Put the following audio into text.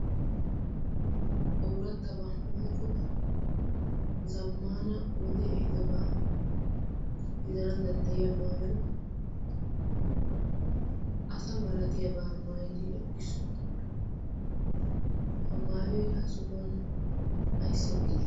oorattaba woyqqo zammana wode ehidobaa gidana danddayiya maayoy asa malatiyaabaa maayidi eqqiisu ha maayoi ha sohuwan aissi eqqide?